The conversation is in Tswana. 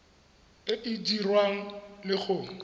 e e dirwang le go